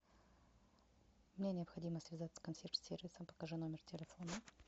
мне необходимо связаться с консьерж сервисом покажи номер телефона